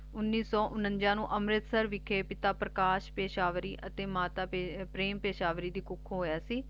ਉੱਨੀ ਸੌ ਉਨੰਜਾ ਅੰਮ੍ਰਿਤਸਰ ਵਿਖਾਈ ਪਿਤਾ ਪ੍ਰਕਾਸ਼ ਪੇਸ਼ਵਾਰੀ ਦੇ ਮੁਖ ਅਤੇ ਮਾਤਾ ਪ੍ਰੇਮ ਪੇਸ਼ ਦੇ ਮੁਖ ਹੋਇਆ ਸੀ ਤੇ ਆਪ ਚਾਰ ਬੇਹਨਾਂ ਵਿਚ ਦੂਜੇ ਨੰਬਰ ਦੇ ਬੈਟੀ ਸੀ ਗਏ